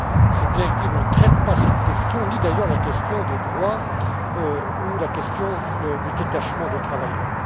cette directive ne traite pas cette question, ni d'ailleurs la question des droits ou la question du détachement des travailleurs.